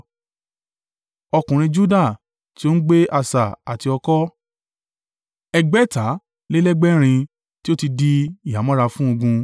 Ọkùnrin Juda, tí o ń gbé asà àti ọ̀kọ̀, ẹgbàáta lé lẹ́gbẹ̀rin (6,800) tí ó ti di ìhámọ́ra fún ogun.